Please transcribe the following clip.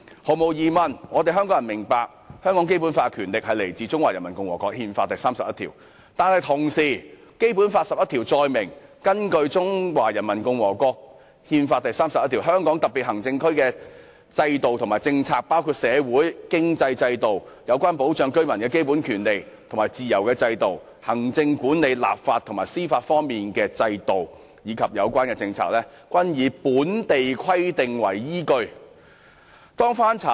香港人當然明白《基本法》的權力來自《中華人民共和國憲法》第三十一條，但與此同時，《基本法》第十一條載明，"根據中華人民共和國憲法第三十一條，香港特別行政區的制度和政策，包括社會、經濟制度，有關保障居民的基本權利和自由的制度，行政管理、立法和司法方面的制度，以及有關政策，均以本法的規定為依據"。